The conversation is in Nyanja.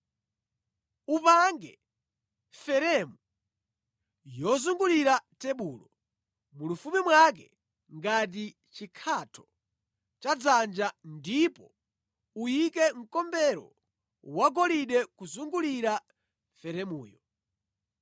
Upange feremu yozungulira tebulo, mulifupi mwake ngati chikhatho cha dzanja, ndipo uyike mkombero wagolide kuzungulira feremuyo.